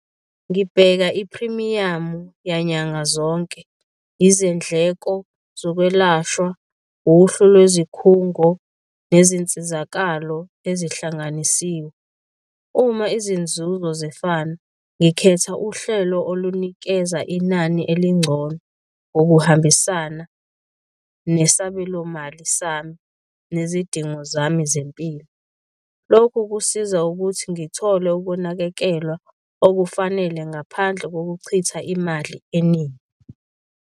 Ngibheka iphrimiyamu yanyanga zonke, izindleko zokwelashwa, uhlu lwezikhungo nezinsizakalo ezihlanganisiwe. Uma izinzuzo zifana ngikhetha uhlelo olunikeza inani elingcono, okuhambisana nesabelomali sami nezidingo zami zempilo. Lokhu kusiza ukuthi ngithole ukunakekelwa okufanele ngaphandle kokuchitha imali eningi.